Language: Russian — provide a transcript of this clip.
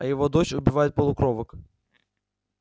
а его дочь убивает полукровок